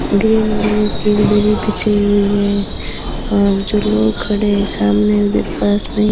green colour की एक दरी बिछी हुई है और जो लोग खड़े सामने उधर पास में ही --